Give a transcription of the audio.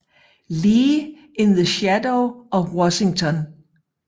Lee in the Shadow of Washington